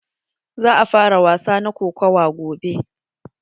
Za a fara wasa na kokawa gobe.